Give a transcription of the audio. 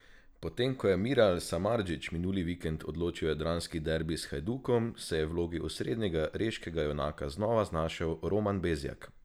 Po tem ko je Miral Samardžić minuli vikend odločil jadranski derbi s Hajdukom, se je v vlogi osrednjega reškega junaka znova znašel Roman Bezjak.